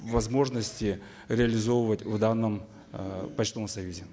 возможности реализовывать в данном э почтовом союзе